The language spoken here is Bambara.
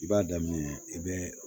I b'a daminɛ i bɛ